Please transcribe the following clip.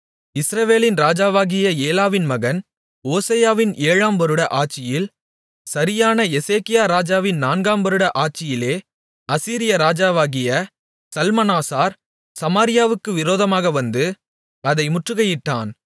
இஸ்ரவேலின் ராஜாவாகிய ஏலாவின் மகன் ஓசெயாவின் ஏழாம் வருட ஆட்சியில் சரியான எசேக்கியா ராஜாவின் நான்காம் வருட ஆட்சியிலே அசீரியா ராஜாவாகிய சல்மனாசார் சமாரியாவுக்கு விரோதமாக வந்து அதை முற்றுகையிட்டான்